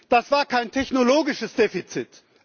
Das war kein technologisches Defizit.